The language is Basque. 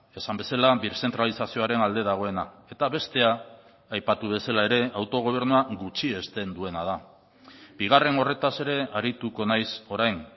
esan bezala birzentralizazioaren alde dagoena eta bestea aipatu bezala ere autogobernua gutxiesten duena da bigarren horretaz ere arituko naiz orain